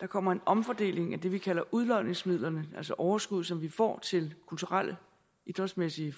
der kommer en omfordeling af det vi kalder udlodningsmidlerne altså overskud som vi får til kulturelle idrætsmæssige